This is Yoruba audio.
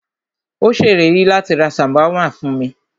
Ó ṣèlérí láti rá ṣàwámà fún mí.